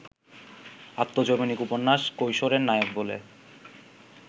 আত্মজৈবনিক উপন্যাস কৈশোর-এর নায়ক বলে